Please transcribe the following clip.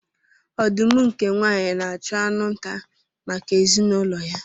Ọdụm nke nwaanyị na-achụ anụ nta maka ezinụlọ ya.